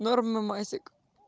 норма масик